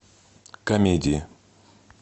комедии